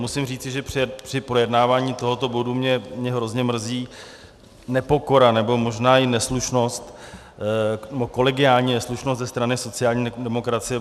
Musím říci, že při projednávání tohoto bodu mě hrozně mrzí nepokora, nebo možná i neslušnost, kolegiální neslušnost ze strany sociální demokracie.